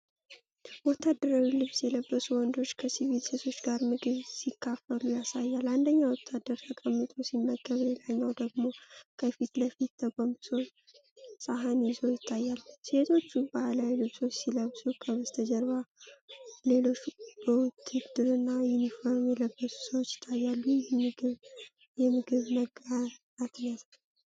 ወታደራዊ ልብስ የለበሱ ወንዶች ከሲቪል ሴቶች ጋር ምግብ ሲካፈሉ ያሳያል። አንደኛው ወታደር ተቀምጦ ሲመገብ፣ ሌላኛው ደግሞ ከፊትፊቱ ተጎንብሶ ሳህን ይዞ ይታያል። ሴቶቹ ባህላዊ ልብሶችን ሲለብሱ፣ ከበስተጀርባሌሎች በውትድርና ዩኒፎርም የለበሱ ሰዎች ይታያሉ። ይህ የምግብ መጋራት ያሳያልን?